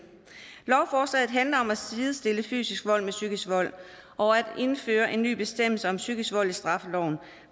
lovforslaget handler om at sidestille fysisk vold med psykisk vold og at indføre en ny bestemmelse om psykisk vold i straffeloven